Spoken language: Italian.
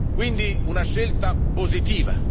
Quindi è una scelta positiva.